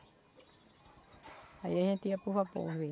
Aí a gente ia para o vapor, ver